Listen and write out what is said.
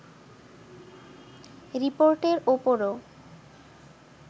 রিপোর্টের ওপরও